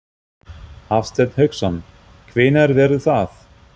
Hafsteinn Hauksson: Hvenær verður það?